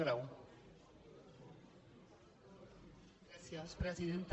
gràcies presidenta